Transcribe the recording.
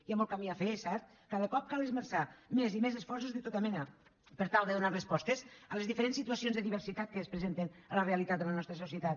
hi ha molt camí a fer és cert cada cop cal esmerçar més i més esforços de tota mena per tal de donar respostes a les diferents situacions de diversitat que es presenten a la realitat de la nostra societat